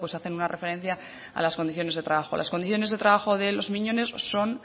hacen una referencia a las condiciones de trabajo las condiciones de trabajo de los miñones son